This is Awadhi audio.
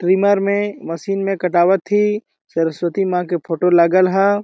ट्रिम्मर में मशीन में कटवा थी सरस्वती माँ के फोटो लागल ह --